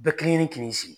Bɛɛ kelen kelen k'i sigi